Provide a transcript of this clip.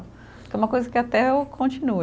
É uma coisa que até eu continuo.